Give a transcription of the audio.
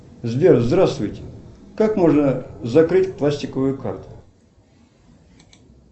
сбер здравствуйте как можно закрыть пластиковую карту